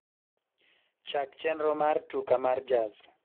chak chenro mar tuka mar jaz